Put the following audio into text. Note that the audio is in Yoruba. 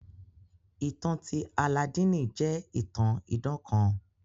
Ìtan ti Alladini jẹ itàn idàn kàn.